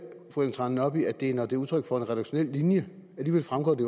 fru ellen trane nørby at det er når det er udtryk for en redaktionel linje alligevel fremgår det